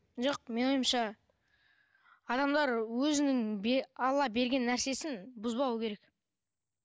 жоқ менің ойымша адамдар өзінің алла берген нәрсесін бұзбауы керек